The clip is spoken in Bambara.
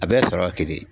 A bɛɛ ye sɔrɔ kelen